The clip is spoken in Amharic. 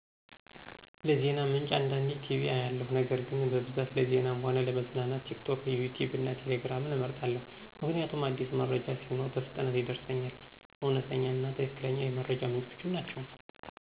ለዜና ምንጭ አንዳንዴ ቲቪ አያለሁ ነገር ግን በብዛት ለዜናም ሆነ ለመዝናናት ቲክቶክ፣ ዩትዩብ እና ቴሌግራምን እመርጣለሁ ምክንያቱም አዲስ መረጃ ሲኖር በፍጥነት ይደርሰኛል፤ እውነተኛ እና ትክክለኛ የመረጃ ምንጮችም ናቸወ።